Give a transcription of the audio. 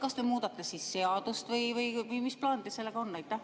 Kas te muudate seadust või mis plaan teil sellega on?